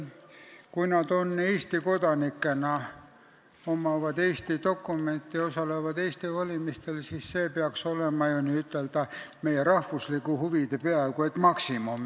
Kui nad on Eesti kodanikud, kellel on Eesti dokumendid ja kes osalevad Eesti valimistel, siis see peaks olema ju meie rahvuslike huvide peaaegu et maksimum.